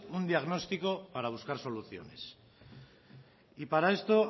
un diagnóstico para buscar soluciones y para esto